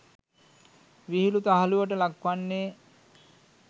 විහිලු තහලුවට ලක්වන්නේ